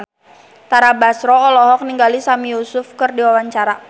Tara Basro olohok ningali Sami Yusuf keur diwawancara